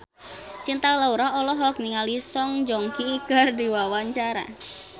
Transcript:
Cinta Laura olohok ningali Song Joong Ki keur diwawancara